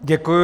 Děkuji.